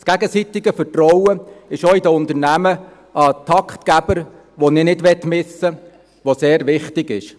Das gegenseitige Vertrauen ist auch in den Unternehmen ein Taktgeber, den ich nicht missen möchte, und der ist sehr wichtig.